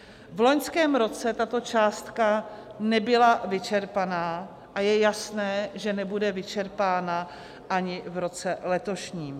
V loňském roce tato částka nebyla vyčerpána a je jasné, že nebude vyčerpána ani v roce letošním.